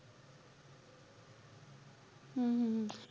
हम्म हम्म हम्म